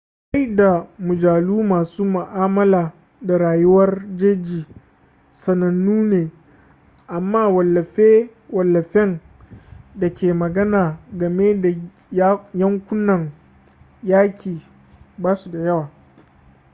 littattafai da mujallu masu ma'amala da rayuwar jeji sanannu ne amma wallafe-wallafen da ke magana game da yankunan yaƙi ba su da yawa